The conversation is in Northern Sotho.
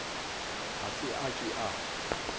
ga se a ke a